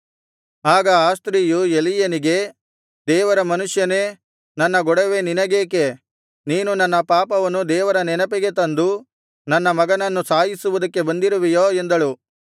ಆಗ ಆ ಸ್ತ್ರೀಯು ಎಲೀಯನಿಗೆ ದೇವರ ಮನುಷ್ಯನೇ ನನ್ನ ಗೊಡವೆ ನಿನಗೇಕೆ ನೀನು ನನ್ನ ಪಾಪವನ್ನು ದೇವರ ನೆನಪಿಗೆ ತಂದು ನನ್ನ ಮಗನನ್ನು ಸಾಯಿಸುವುದಕ್ಕೆ ಬಂದಿರುವೆಯೋ ಎಂದಳು